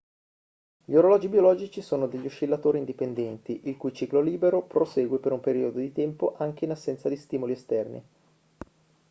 gli orologi biologici sono degli oscillatori indipendenti il cui ciclo libero prosegue per un periodo di tempo anche in assenza di stimoli esterni